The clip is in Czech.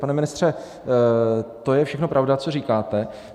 Pane ministře, to je všechno pravda, co říkáte.